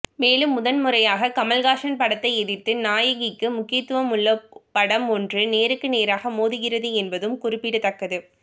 மேலும் முதல்முறையாக கமல்ஹாசன் படத்தை எதிர்த்து நாயகிக்கு முக்கியத்துவம் உள்ள படம் ஒன்று நேருக்கு நேராக மோதுகிறது என்பதும் குறிப்பிடத்தக்கது